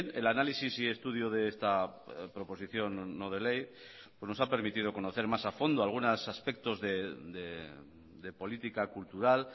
el análisis y estudio de esta proposición no de ley nos ha permitido conocer más afondo algunos aspectos de política cultural